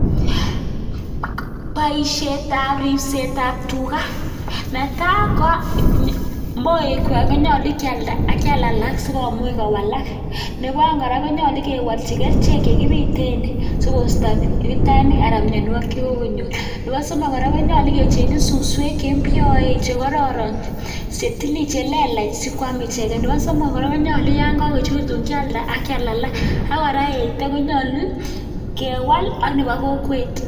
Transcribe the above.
Boishetab ribsetab tukaa, netaa ko moekwak konyolu kialda ak kial alak sikomuch kowalak, neboo oeng kora konyolu kewolchi kerichek chekibiten sikosto mitenik anan mionwokik chekokonyor, nebo somok kora konyolu kechengyi suswek chembioen chekororon chelelach sikwam icheken, nebo somok konyolu yoon kokochurtun kialda ak kial alak ak kotra eito konyolu kewal ak nebo kokwet.